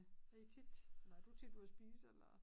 Det tit eller er du tit ude og spise eller